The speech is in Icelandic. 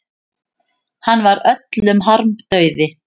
Hann var öllum harmdauði.